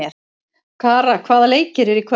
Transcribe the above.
Kara, hvaða leikir eru í kvöld?